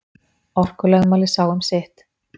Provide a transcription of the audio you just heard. Orkulögmálið sá um sitt.